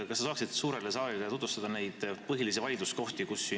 Kas te saaksite suurele saalile tutvustada neid põhilisi vaidluskohti?